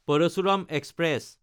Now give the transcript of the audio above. Parasuram express